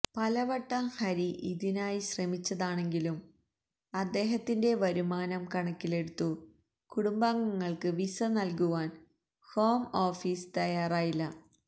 പലവട്ടം ഹരി ഇതിനായി ശ്രമിച്ചതാണെങ്കിലും അദ്ദേഹത്തിന്റെ വരുമാനം കണക്കിലെടുത്തു കുടുംബാംഗങ്ങള്ക്ക് വിസ നല്കുവാന് ഹോം ഓഫിസ് തയ്യാറായില്ല